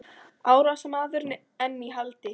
Árásarmaður enn í haldi